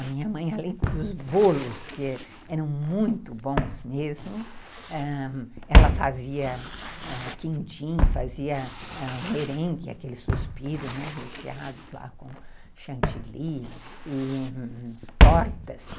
A minha mãe, além dos bolos, que eram muito bons mesmo, ãh, ela fazia quindim, fazia merengue, aquele suspiro, né, recheado com chantilly e tortas.